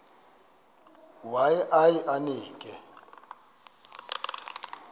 waye aye emke